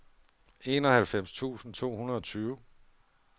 enoghalvfems tusind to hundrede og tyve